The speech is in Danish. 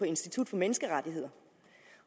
institut for menneskerettigheder